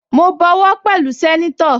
Mo bọwọ́ pẹ̀lú sẹ́nétọ̀